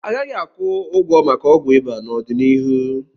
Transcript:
A gaghị akwụ ụgwọ maka ọgwụ ịba n'ọdịnihu.